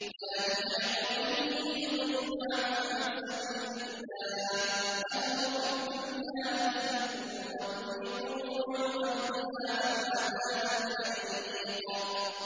ثَانِيَ عِطْفِهِ لِيُضِلَّ عَن سَبِيلِ اللَّهِ ۖ لَهُ فِي الدُّنْيَا خِزْيٌ ۖ وَنُذِيقُهُ يَوْمَ الْقِيَامَةِ عَذَابَ الْحَرِيقِ